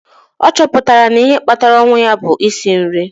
a chọpụtara na ihe kpatara ọnwụ ya bụ nsị nri